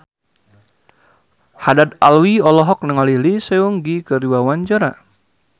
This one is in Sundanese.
Haddad Alwi olohok ningali Lee Seung Gi keur diwawancara